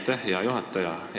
Aitäh, hea juhataja!